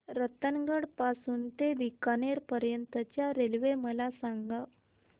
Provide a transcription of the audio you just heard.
रतनगड पासून ते बीकानेर पर्यंत च्या रेल्वे मला सांगा